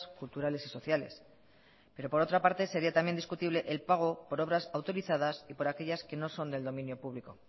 culturales y sociales pero por otra parte sería también discutible el pago por obras autorizadas y por aquellas que no son del dominio público